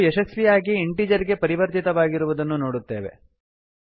ಮೌಲ್ಯವು ಯಶಸ್ವಿಯಾಗಿ ಇಂಟೀಜರ್ ಗೆ ಪರಿವರ್ತಿತವಾಗಿರುವುದನ್ನು ನೋಡುತ್ತೇವೆ